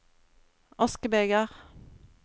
askebeger